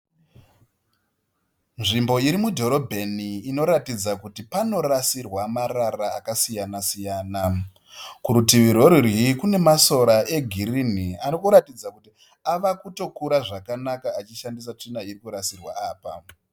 Nzvimbo iri mudhorobheni inoratidza kuti panorasirwa marara akasiyana- siyana. Kurutivi rwerudyi kune masora egirini ari kuratidza kuti ava kutokura zvakanaka achishandisa tsvina yakarasirwa apa.